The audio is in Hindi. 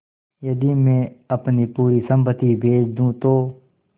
यदि मैं अपनी पूरी सम्पति बेच दूँ तो